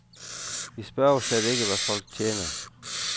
Vi spørger slet ikke, hvad folk tjener.